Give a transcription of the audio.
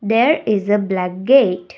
there is a black gate.